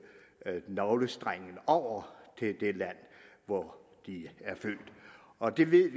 navlestrengen over til det land hvor de er født og det ved